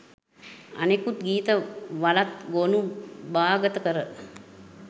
අනෙකුත් ගීත වලත්ගොනු භාගත කර